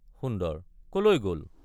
সুন্দৰ— কলৈ গল?